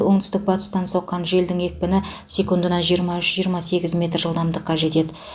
оңтүстік батыстан соққан желдің екпіні секундына жиырма үш жиырма сегіз метр жылдамдыққа жетеді